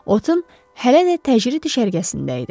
Otın hələ də təcrid düşərgəsində idi.